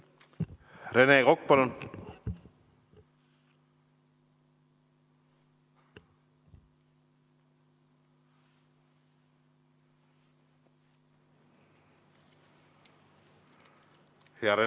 Rene Kokk, palun!